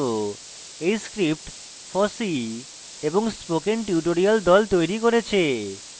এই script fossee এবং spoken tutorial the তৈরী করেছে